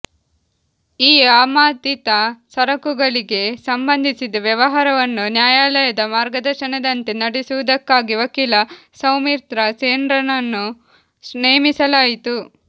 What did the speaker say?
ಈ ಆಮದಿತ ಸರಕುಗಳಿಗೆ ಸಂಬಂಧಿಸಿದ ವ್ಯವಹಾರವನ್ನು ನ್ಯಾಯಾಲಯದ ಮಾರ್ಗದರ್ಶನದಂತೆ ನಡೆಸುವುದಕ್ಕಾಗಿ ವಕೀಲ ಸೌಮಿತ್ರ ಸೆನ್ರನ್ನು ನೇಮಿಸಲಾಯಿತು